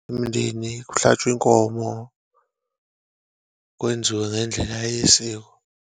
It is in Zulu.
Umndeni kuhlatshwe inkomo, kwenziwe ngendlela yesiko.